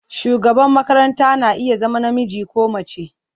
Shugaban makaranta na iya zama namiji ko mace.